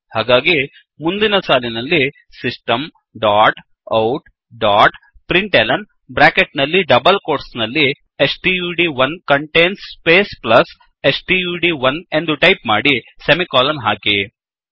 ಹಾಗಾಗಿ ಮುಂದಿನ ಸಾಲಿನಲ್ಲಿ system dot out dot println bracket ನಲ್ಲಿ ಡಬಲ್ ಕೋಟ್ಸ್ ನಲ್ಲಿ stud one contains space plus stud one ಎಂದು ಟೈಪ್ ಮಾಡಿ ಸೆಮಿಕೋಲನ್ ಹಾಕಿ